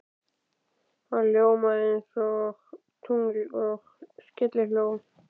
Það ljómaði einsog tungl og skellihló.